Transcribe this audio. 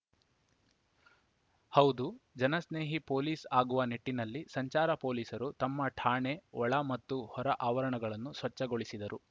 ಹೌದು ಜನಸ್ನೇಹಿ ಪೊಲೀಸ್‌ ಆಗುವ ನಿಟ್ಟಿನಲ್ಲಿ ಸಂಚಾರ ಪೊಲೀಸರು ತಮ್ಮ ಠಾಣೆ ಒಳ ಮತ್ತು ಹೊರ ಆವರಣಗಳನ್ನು ಸ್ವಚ್ಛಗೊಳಿಸಿದರು